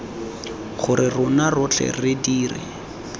gore rona rotlhe re dire